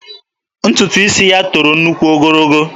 Ntutu isi ya toro nnukwu ogologo.